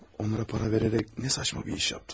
Onlara para verərək nə saçma bir iş yaptım.